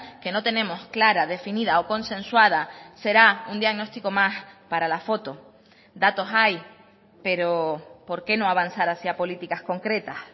que no tenemos clara definida o consensuada será un diagnóstico más para la foto datos hay pero por qué no avanzar hacia políticas concretas